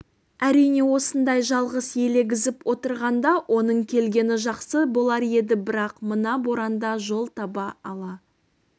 әрине осындай жалғыз елегізіп отырғанда оның келгені жақсы болар еді бірақ мына боранда жол таба ала